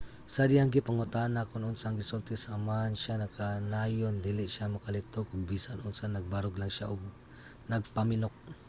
sa dihang gipangutana kon unsa ang gisulti sa amahan siya nagkanayon dili siya makalitok og bisan unsa - nagbarog lang siya ug nagpamilok.